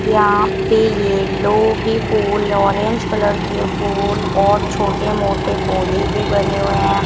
यहां पे येल्लो भी फूल ऑरेंज कलर के फूल और छोटे मोटे पौधे भी बने हुए हैं।